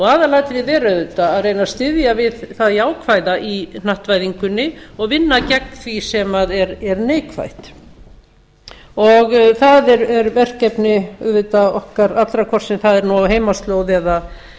aðalatriðið er auðvitað að reyna að styðja við það jákvæða í hnattvæðingunni og vinna gegn því sem er neikvætt og það er verkefni auðvitað okkar allra hvort sem það er nú á heimaslóð